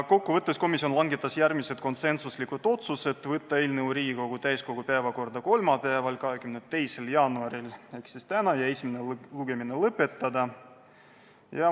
Kokkuvõttes langetas komisjon järgmised konsensuslikud otsused: võtta eelnõu Riigikogu täiskogu päevakorda kolmapäevaks, 22. jaanuariks ehk tänaseks ja esimene lugemine lõpetada.